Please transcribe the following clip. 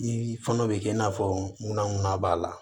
Ni fɛn dɔ bɛ kɛ i n'a fɔ munna b'a la